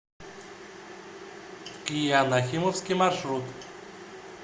киа нахимовский маршрут